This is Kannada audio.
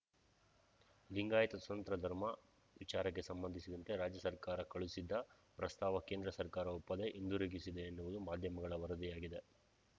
ಲಿಂಗಾಯತ ಸ್ವತಂತ್ರ ಧರ್ಮ ವಿಚಾರಕ್ಕೆ ಸಂಬಂಧಿಸಿದಂತೆ ರಾಜ್ಯ ಸರ್ಕಾರ ಕಳುಸಿದ್ದ ಪ್ರಸ್ತಾವ ಕೇಂದ್ರ ಸರ್ಕಾರ ಒಪ್ಪದೆ ಹಿಂದಿರುಗಿಸಿದೆ ಎನ್ನುವುದು ಮಾಧ್ಯಮಗಳ ವರದಿಯಾಗಿದೆ